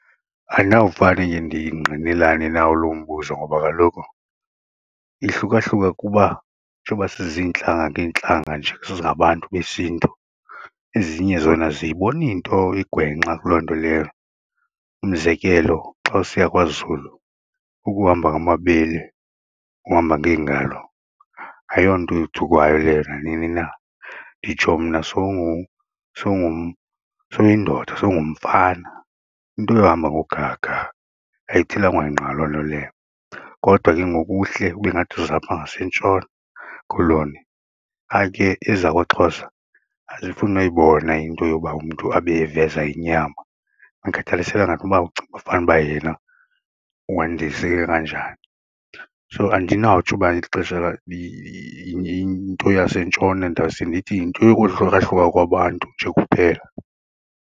Andinawufane ke ndingqinelane nawo lo umbuzo ngoba kaloku ihluka hluka kuba njengoba siziintlanga ngeentlanga nje singabantu besiNtu ezinye zona aziyiboni nto igwenxa kuloo nto leyo umzekelo xa usiya kwaZulu ukuhamba ngamabele, uhamba ngeengalo ayonto yothukwayo leyo nanini na nditsho mna sowuyindoda sowungumfana into yohamba ngogaga ayithelwanga nqa loo nto leyo. Kodwa ke ngoku uhle ube ngathi uzapha ngaseNtshona Koloni ayike ezakwaXhosa azifuni noyibona into yoba umntu abe eveza inyama andikhathalisekanga noba ucinguba fanuba yena wandiseke kanjani so andinawutsho uba ixesha yinto yaseNtshona ndawuse ndithi yinto yokohlukahluka kwabantu nje kuphela.